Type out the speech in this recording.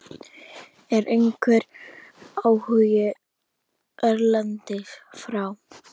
Er einhver áhugi erlendis frá?